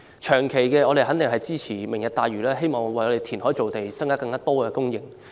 長期的措施，肯定是支持"明日大嶼"，希望為香港填海造地，增加土地供應。